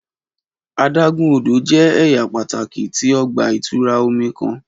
Adágún odò jẹ́ ẹ̀yà pàtàki tí ọgbà -ìtura omi kan.